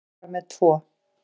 Hann var með tvo.